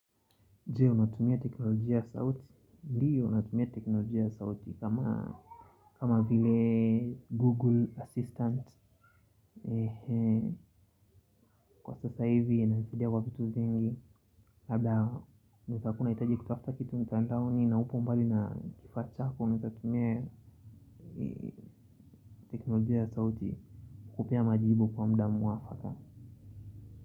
Jee, unatumia teknolojia saut? Ndio, natumia teknolojia ya sauti, kama vile Google Assistant. Kwa sasa hivi, inanisaidia kwa vitu vingi, labda, unaweza kua unahitaji kutafuta kitu, mtandaoni, na upo mbali na kifaa chako, unaweza tumia teknolojia ya sauti, kukupea majibu kwa muda muafaka.